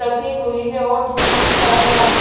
रखी हुई है और दूर बहुत सारे आदमी--